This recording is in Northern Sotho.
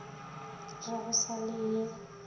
re go sa le ye